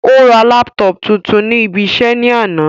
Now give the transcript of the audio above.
Ó ra laptop tuntun ní ibi iṣẹ́ ní àná